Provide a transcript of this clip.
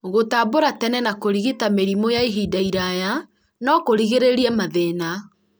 gũtambũra tene na kũrigita mĩrimũ ya ihinda iraya no kũrigĩrĩrie mathĩna